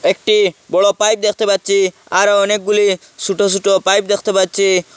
একটি বড়ো পাইপ দেখতে পাচ্ছি আরো অনেকগুলি ছুটো ছুটো পাইপ দেখতে পাচ্ছি।